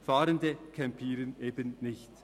Fahrende campieren nicht.